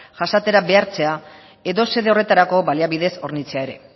jasatera behartzea edo xede horretarako baliabidez hornitzea ere